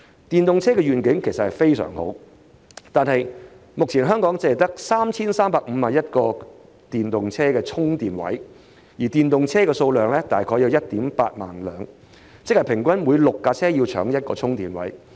電動車的願景其實相當好，但目前香港只有 3,351 個電動車充電位，電動車數量卻大約為 18,000 輛，即平均每6輛車爭用1個充電位。